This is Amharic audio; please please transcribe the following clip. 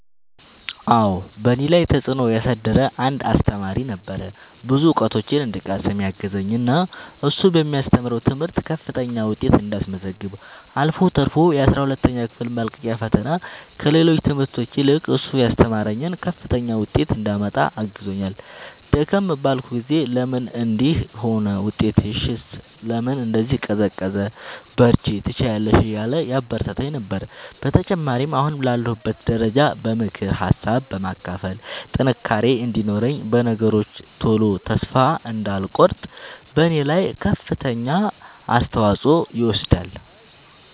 አዎ በእኔ ላይ ተፅእኖ ያሳደረ አንድ አሰተማሪ ነበረ። ብዙ እውቀቶችን እንድቀስም ያገዘኝ እና እሱ በሚያስተምረው ትምህርት ከፍተኛ ውጤት እንዳስመዘግብ አልፎ ተርፎ የአስራ ሁለተኛ ክፍል መልቀቂያ ፈተና ከሌሎች ትምህርቶች ይልቅ እሱ ያስተማረኝን ከፍተኛ ውጤት እንዳመጣ አግዞኛል። ደከም ባልኩ ጊዜ ለምን እንዲህ ሆነ ውጤትሽስ ለምን እንዲህ ቀዘቀዘ በርቺ ትችያለሽ እያለ ያበረታታኝ ነበረ። በተጨማሪም አሁን ላለሁበት ደረጃ በምክር ሀሳብ በማካፈል ጥንካሬ እንዲኖረኝ በነገሮች ቶሎ ተስፋ እንዳልቆርጥ በኔ ላይ ከፍተኛውን አስተዋፅኦ ይወስዳል።